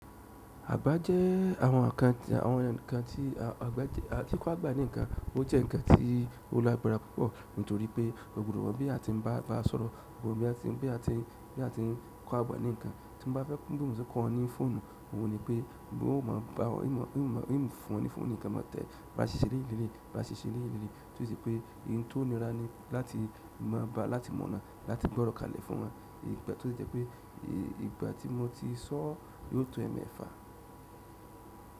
Àbá jẹ́ àwọn ǹkan tí a ti kọ́ àgbá ní ǹkan, ó jẹ́ ǹkan tí ó lágbára púpọ̀ nítorí pé ògùrò wọ́n bí a ti ń bá sọ̀rọ̀, bí a ti ń kọ́ àgbá ní ǹkan tí mo bá fẹ́ kí ènìyàn kan kọ́ ọ ní fóònù, òun ní pé bí ó máa bá ènìyàn fún ní fóònù ní ǹkan mó tẹ́ ba ṣíṣe lẹ́yìn líle, ba ṣiṣẹ́ lẹ́yìn líle tó ṣe pé ǹtó níra ní láti mọ̀ ọ́n láti gbọ́rọ kálẹ̀ fún wọn ìgbà tó jẹ́ pé ìgbà tí mo ti sọ yóò tó ẹ̀mẹ́fà.